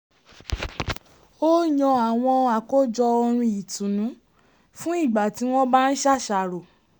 ó yan àwọn àkọ́jọ orin ìtùnnù fún ígbà tí wọ́n bá ń ṣàṣàrò